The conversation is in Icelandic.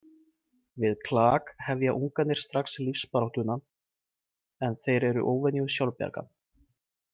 Við klak hefja ungarnir strax lífsbaráttuna en þeir eru óvenju sjálfbjarga.